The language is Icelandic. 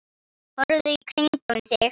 Horfðu í kringum þig!